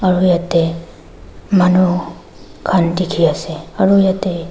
aru yetey manu khan dikhi ase aru yetey--